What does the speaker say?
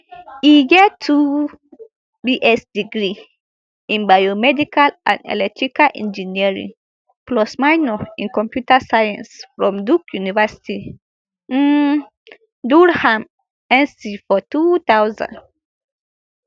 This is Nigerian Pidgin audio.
e get two bs degree in biomedical and electrical engineering plus minor in computer science from duke university um durham nc for two thousand